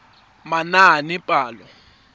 manaanepalo